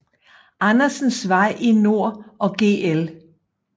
Andersens Vej i nord og Gl